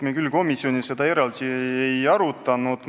Me küll komisjonis seda eraldi ei arutanud.